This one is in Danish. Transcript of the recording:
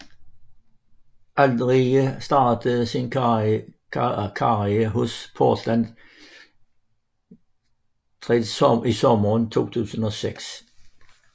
Aldridge startede sin karriere hos Portland Trail Blazers i sommeren 2006